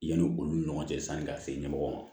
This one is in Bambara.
Yanni olu ni ɲɔgɔn cɛ sani ka se ɲɛmɔgɔ ma